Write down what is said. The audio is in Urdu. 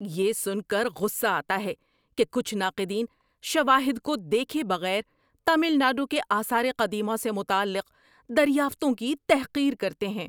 یہ سن کر غصہ آتا ہے کہ کچھ ناقدین شواہد کو دیکھے بغیر تمل ناڈو کے آثار قدیمہ سے متعلق دریافتوں کی تحقیر کرتے ہیں۔